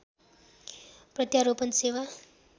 प्रत्यारोपण सेवा